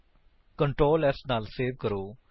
Ctrl s ਨਾਲ save ਕਰੋ